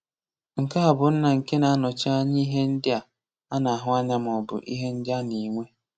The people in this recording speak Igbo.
Nke a bụ nna nke na-anọchi anya ihe ndị a na-ahụ anya maọbụ ihe ndị a na-enwe.